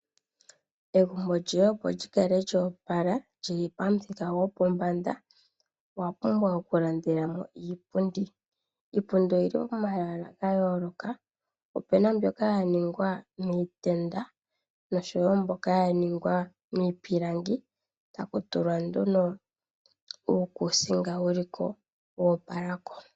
Egumbo lyoye opo li kale lyo opala li li pamuthika gopombanda owa pumbwa okulandela mo iipundi. Iipundi oyi li momaludhi ga yooloka. Opu na mbyoka ya ningwa niitenda noshowo mbyoka ya ningwa niipilangi taku tulwa nduno uukuusinga wu li ko wo opala ko.